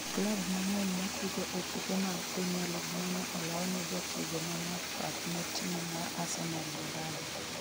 klab mang'eny matugo e tuke mag premia lig mwonyo olaw ne jatugo ma math pap ne tim mar Arsenal Baraza